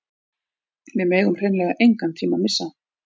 Við megum hreinlega engan tíma missa